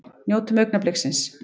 Njótum augnabliksins!